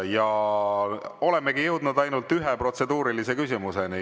Ja olemegi jõudnud ainult ühe protseduurilise küsimuseni.